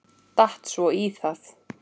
Datt svo í það.